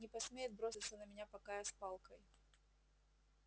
не посмеет броситься на меня пока я с палкой